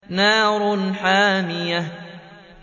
نَارٌ حَامِيَةٌ